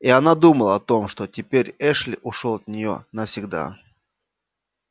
и она думала о том что теперь эшли ушёл от неё навсегда